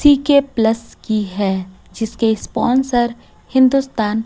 सी_के plus की है जिसके स्पॉन्सर हिंदुस्तान--